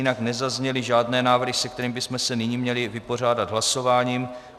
Jinak nezazněly žádné návrhy, se kterými bychom se nyní měli vypořádat hlasováním.